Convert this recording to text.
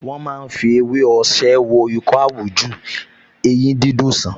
Wọ́n máa ń fi ewé osè wo ikọ́ àwújù, eyín dídùn sàn